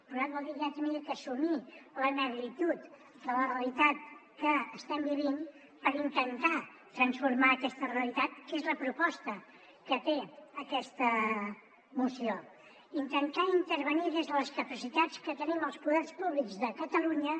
plorat vol dir que ja havia d’assumir la negritud de la realitat que estem vivint per intentar transformar aquesta realitat que és la proposta que té aquesta moció intentar intervenir des de les capacitats que tenim els poders públics de catalunya